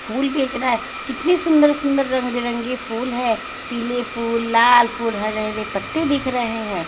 फूल बेच रहा है कितने सुंदर सुंदर रंग बिरंगे फूल हैं पीले फूल लाल फूल हरे हरे पत्ते दिख रहे हैं।